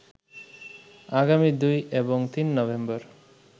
আগামী ২ এবং ৩ নভেম্বর